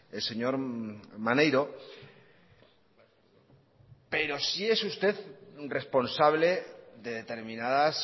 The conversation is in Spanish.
el señor maneiro pero sí es usted responsable de determinadas